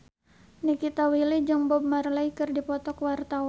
Nikita Willy jeung Bob Marley keur dipoto ku wartawan